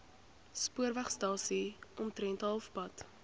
spoorwegstasie omtrent halfpad